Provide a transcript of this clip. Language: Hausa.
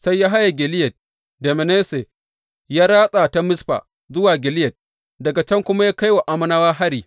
Sai ya haye Gileyad da Manasse, ya ratsa ta Mizfa zuwa Gileyad, daga can kuma ya kai wa Ammonawa hari.